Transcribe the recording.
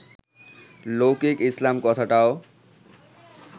লৌকিক ইসলাম কথাটাও